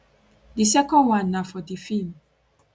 di second one na for di feem